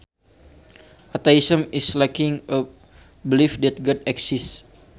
Atheism is lacking a belief that God exists